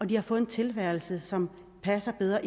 de har fået en tilværelse som passer bedre